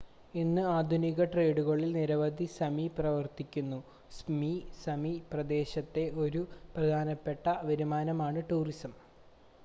ഇന്ന് ആധുനിക ട്രേഡുകളിൽ നിരവധി സമി പ്രവർത്തിക്കുന്നു സപ്‌മി സമി പ്രദേശത്തെ ഒരു പ്രധാനപ്പെട്ട വരുമാനമാണ് ടൂറിസം